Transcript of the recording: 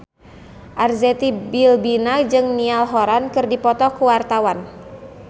Arzetti Bilbina jeung Niall Horran keur dipoto ku wartawan